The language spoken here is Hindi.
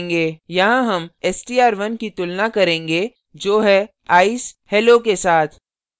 यहाँ हम str1 की तुलना करेंगे जो है ice hello के साथ